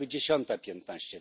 Byłaby dziesiąta piętnaście.